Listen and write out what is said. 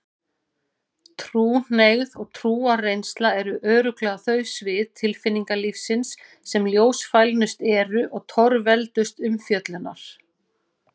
Trúhneigð og trúarreynsla eru örugglega þau svið tilfinningalífsins sem ljósfælnust eru og torveldust umfjöllunar.